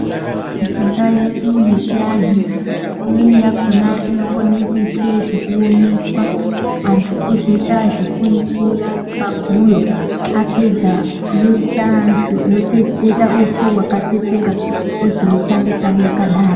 Mishonga yedu yechi anhu imweni yakona ino kone kuitwe zveku omeswa antu ozo ita zveku ikuya pa guyo apedza woita otsetsera upfu hwaka tsetseka wozoi shandisa yaka daro.